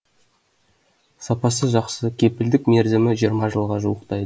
сапасы жақсы кепілдік мерзімі жиырма жылға жуықтайды